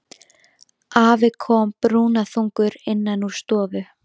Afi kom brúnaþungur innan úr stofu.